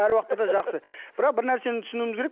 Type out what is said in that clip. әр уақытта да жақсы бірақ бір нәрсені түсінуіміз керек